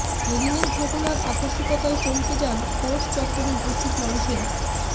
এদিনের ঘটনার আকস্মিকতায় চমকে যান কোর্ট চত্বরে উপস্থিত মানুষেরা